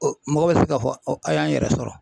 mɔgɔ bɛ se k'a fɔ an y'an yɛrɛ sɔrɔ.